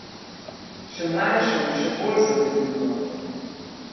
Še mlajšo in še bolj zapeljivo.